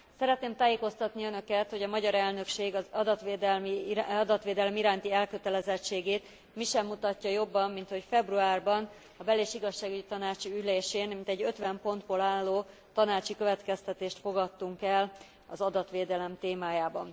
Szeretném tájékoztatni Önöket, hogy a magyar elnökség adatvédelem iránti elkötelezettségét mi sem mutatja jobban, minthogy februárban a bel és igazságügyi tanácsi ülésén mintegy ötven pontból álló tanácsi következtetést fogadtunk el az adatvédelem témájában.